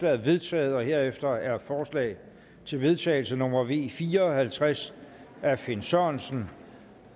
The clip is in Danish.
er vedtaget herefter er forslag til vedtagelse nummer v fire og halvtreds af finn sørensen